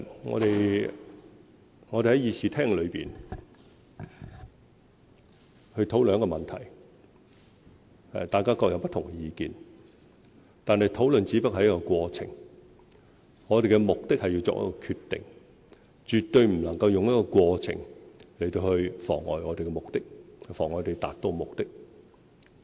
我們在議事廳內討論問題時，大家各有不同意見，但討論只不過是一個過程，我們的目的是要作出決定，絕對不能夠用過程來妨礙我們的目的、妨礙我們達到目的。